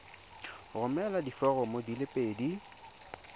romela diforomo di le pedi